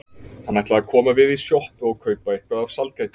Hann ætlaði að koma við í sjoppu og kaupa eitthvað af sælgæti.